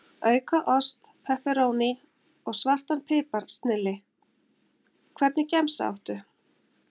Auka ost, pepperóní og svartan pipar, snilli Hvernig gemsa áttu?